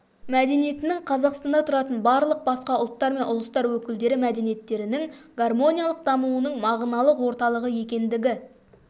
мәдениетінің қазақстанда тұратын барлық басқа ұлттар мен ұлыстар өкілдері мәдениеттерінің гармониялық дамуының мағыналық орталығы екендігі